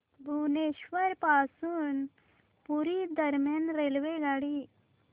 भुवनेश्वर पासून पुरी दरम्यान रेल्वेगाडी